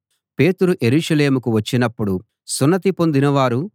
పేతురు యెరూషలేముకు వచ్చినపుడు సున్నతి పొందినవారు